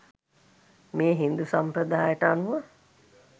මේ හින්දු සම්ප්‍රදායට අනුව